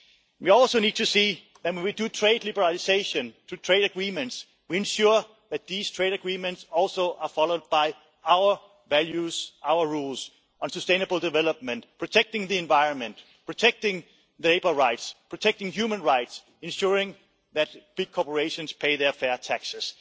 well. We also need to ensure, when we do trade liberalisation and make trade agreements, that these trade agreements also follow our values, our rules on sustainable development, protecting the environment, protecting labour rights, protecting human rights, and ensuring that big corporations pay their fair